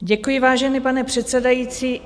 Děkuji, vážený pane předsedající.